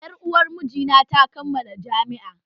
Yar uwan miji na ta kammala jami'a